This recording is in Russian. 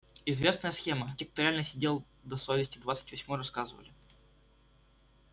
известная схема те кто реально сидел по двести двадцать восьмой рассказывали